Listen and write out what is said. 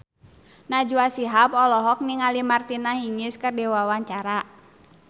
Najwa Shihab olohok ningali Martina Hingis keur diwawancara